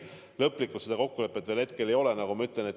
Lõplikult seda kokkulepet veel ei ole, nagu ma ütlesin.